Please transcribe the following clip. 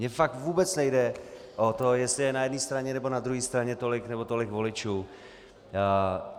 Mně fakt vůbec nejde o to, jestli je na jedné straně nebo na druhé straně tolik nebo tolik voličů.